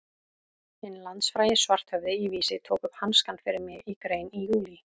Hinn landsfrægi Svarthöfði í Vísi tók upp hanskann fyrir mig í grein í júlí.